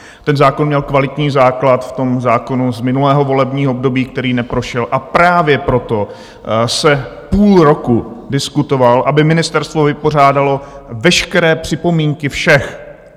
Ten zákon měl kvalitní základ v tom zákonu z minulého volebního období, který neprošel, a právě proto se půl roku diskutoval, aby ministerstvo vypořádalo veškeré připomínky všech.